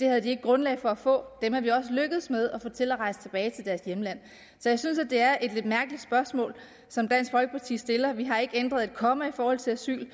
havde grundlag for at få dem er vi også lykkedes med at få til at rejse tilbage til deres hjemland så jeg synes at det er et lidt mærkeligt spørgsmål som dansk folkeparti stiller vi har ikke ændret et komma i forhold til asyl